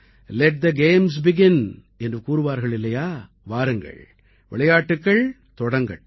let the games begin என்று கூறுவார்கள் இல்லையா வாருங்கள் விளையாட்டுக்கள் தொடங்கட்டும்